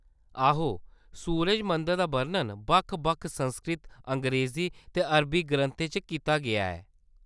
आहो, सूरज मंदर दा बर्णन बक्ख-बक्ख संस्कृत, अंग्रेज़ी ते अरबी ग्रंथें च कीता गेआ ऐ।